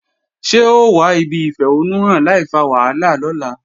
Ṣé o wà ibi ìfẹ̀hónúhàn láìfa wàhálà lọ́la?